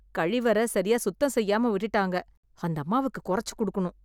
கழிவற சரியா சுத்தம் செய்யாம விட்டுட்டாங்க... அந்தம்மாவுக்கு கொறச்சு குடுக்கணும்.